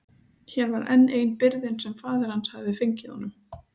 Hér var enn ein byrðin sem faðir hans hafði fengið honum.